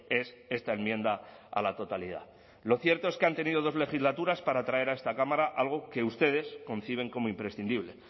es esta enmienda a la totalidad lo cierto es que han tenido dos legislaturas para traer a esta cámara algo que ustedes conciben como imprescindible